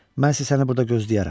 Mən isə səni burda gözləyərəm.